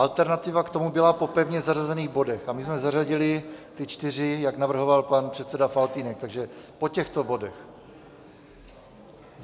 Alternativa k tomu byla po pevně zařazených bodech, a my jsme zařadili ty čtyři, jak navrhoval pan předseda Faltýnek, takže po těchto bodech.